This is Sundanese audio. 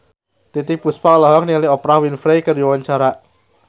Titiek Puspa olohok ningali Oprah Winfrey keur diwawancara